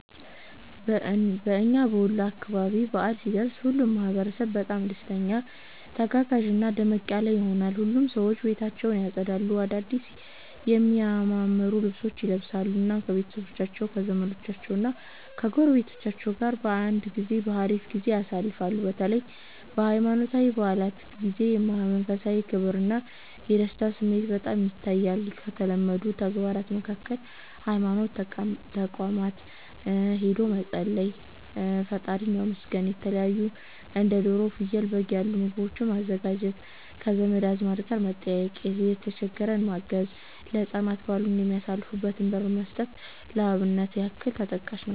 በእና በወሎ አካባቢ በዓል ሲደርስ ሁሉም ማህበረሰብ በጣም ደስተኛ፣ ተጋጋዥና ደመቅ ያለ ይሆናል። ሁሉም ሰዎች ቤታቸውን ያፀዳሉ፣ አዳድስ የሚያማምሩ ልብሶችን ይለብሳሉ፣ እናም ከቤተሰቦቻቸው ከዘመዶቻቸው ጎረቤቶች ጋር በአንድ ላይ ሀሪፍ ጊዜ ያሳልፋሉ። በተለይ በሃይማኖታዊ በዓላት ጊዜ የመንፈሳዊ ክብርና የደስታ ስሜት በጣም ይታያል። ከተለመዱ ተግባራት መካከል ሀይማኖት ተቋማት ሂዶ መፀለይ፣ መፀለይ (ፈጣሪን ማመስገን)፣የተለታዩ እንደ ዶሮ፣ ፍየል፣ በግ ያሉ ምግቦችን ማዘጋጀት፣ ከዘመድ አዝማድ ጋር መጠያየቅ፣ የተሸገረን ማገዝ(መርዳት)፣ ለህፃናት በዓሉን የሚያሳልፉበትን ብር መስጠት ለአብነት ያክል ተጠቃሽ ናቸው።